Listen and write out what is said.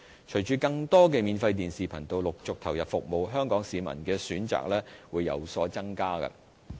隨着更多免費電視頻道陸續投入服務，香港市民的選擇會有所增加。